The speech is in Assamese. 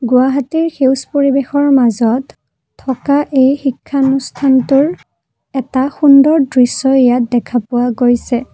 গুৱাহাটীৰ সেউজ পৰিবেশৰ মাজত থকা এই শিক্ষানুষ্ঠানটোৰ এটা সুন্দৰ দৃশ্য ইয়াত দেখা পোৱা গৈছে।